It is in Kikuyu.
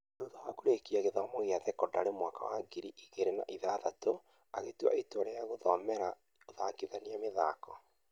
Thutha wa kũrĩkia gĩthomo gia thekondarĩ mwaka wa ngiri igĩri na ithathatũ, agĩtua itua rĩa gũthie gũthomera ũthakithia mithako